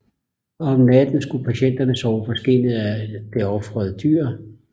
Om natten skulle patienterne sove på skindet af det ofrede dyr